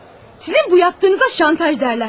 Sizin bu etdiyinizə şantaj deyərlər.